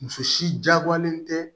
Muso si jagoyalen tɛ